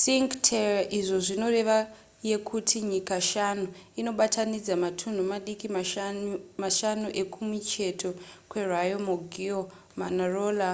cinque terre izvo zvinorevo yekuti nyika shanu inobatanidza matunhu madiki mashanu ekumicheto kweriomaggiore manarola